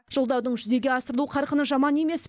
жолдаудың жүзеге асырылу қарқыны жаман емес